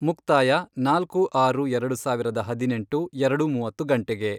ಮುಕ್ತಾಯ, ನಾಲ್ಕು, ಆರು, ಎರಡು ಸಾವಿರದ ಹದಿನೆಂಟು, ಎರಡು ಮೂವತ್ತು ಗಂಟೆಗೆ